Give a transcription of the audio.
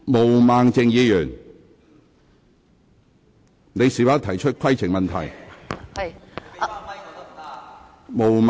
毛孟靜議員，你是否有規程問題？